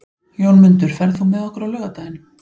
Jómundur, ferð þú með okkur á laugardaginn?